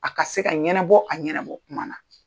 A ka se ka ɲɛnabɔ a ɲɛnabɔ kuma na.